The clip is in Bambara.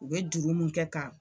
U be juru mun kɛ ka